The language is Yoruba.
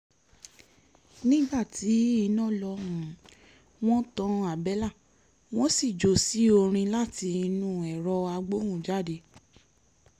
nígbà tí iná lọ wọ́n tan àbẹ́là wọn sì jó sí orin láti inú ẹ̀rọ agbóhùnjáde